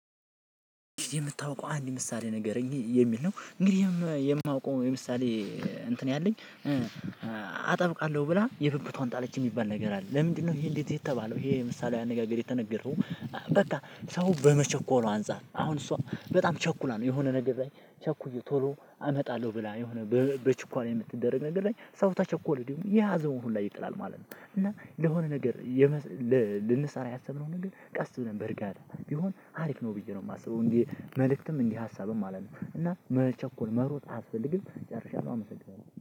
የምታውቀው አንድ ምሳሌ ንገረኝ የሚል ነው? እንግዲህ የማውቀው የምሳሌ እንትን ያለኝ አጠብቃለሁ ብላ የብብቷን ጣለች የሚባል ነገር አለ። ለምንድነው? ይሄ እንደዚ የተባለው ይሄ ምሳሌያዊ አነጋገር የተነገረው። በቃ ሰው በመቸኮሉ አንፃር አሁን እሷ በጣም ቸኩላ ነው የሆነ ነገር ላይ ቸኩዬ ቶሎ አመጣለሁ ብላ የሆነ በችኳላ የምትደረግ ነገር ላይ ሰው ከቸኮለ ደግሞ የያዘውን ሁላ ይጥላል ማለት ነው። እና ለሆነ ነገር። ልንሰራ ያሰብነውን ግን ቀስ ብለን በርጋታ ቢሆን አሪፍ ነው ብዬ ነው የማስበው እንደ መልእክትም እንደ ሀሳብም ማለት ነው። እና መቸኮል መሮጥ አስፈልግም ጨርሻለሁ አመሰግናለሁ